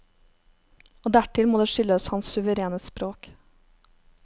Og dertil må det skyldes hans suverene språk.